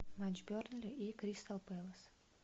матч бернли и кристал пэлас